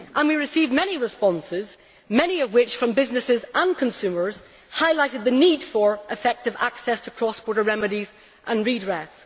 We received many responses, many of which from businesses and consumers highlighted the need for effective access to cross border remedies and redress.